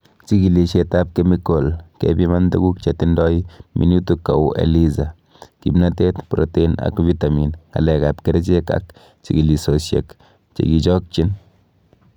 Chigilisietab kemikol, kepiman tuguk chetindo minutik kou Eliza. kimnotet, protein ak vitamin, Ngalek ab kerichek ak chigilisiosiek chekichokchin